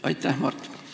Aitäh, Mart!